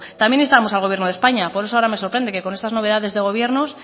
también instamos al gobierno de españa por eso ahora me sorprende que con esas novedades de gobiernos